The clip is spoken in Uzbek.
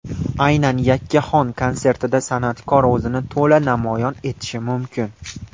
Aynan yakkaxon konsertida san’atkor o‘zini to‘la namoyon etishi mumkin.